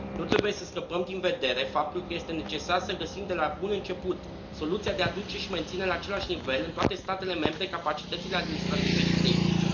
Nu trebuie să scăpăm din vedere faptul că este necesar să găsim de la bun început soluția de a aduce și a menține la același nivel, în toate statele membre, capacitățile administrative și tehnice.